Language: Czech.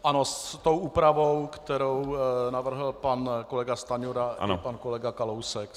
Ano, s tou úpravou, kterou navrhl pan kolega Stanjura a pan kolega Kalousek.